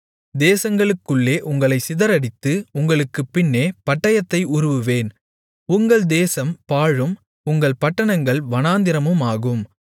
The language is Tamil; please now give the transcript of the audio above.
தேசங்களுக்குள்ளே உங்களைச் சிதறடித்து உங்களுக்குப் பின்னே பட்டயத்தை உருவுவேன் உங்கள் தேசம் பாழும் உங்கள் பட்டணங்கள் வனாந்திரமுமாகும்